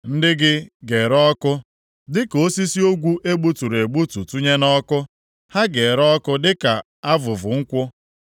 Ndị gị ga-ere ọkụ, dịka osisi ogwu e gbuturu egbutu tụnye nʼọkụ; ha ga-ere ọkụ dịka avụvụ nkwụ.”